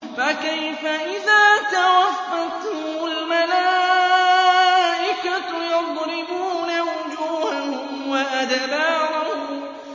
فَكَيْفَ إِذَا تَوَفَّتْهُمُ الْمَلَائِكَةُ يَضْرِبُونَ وُجُوهَهُمْ وَأَدْبَارَهُمْ